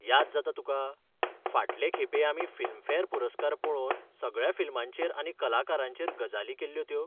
याद जाता तुका, फाटले खेपे आमी फिल्मफॅर पुरस्कार पळोवन सगळ्या फिल्मांचेर आनी कलाकारांचेर गजाली केल्ल्यो त्यो?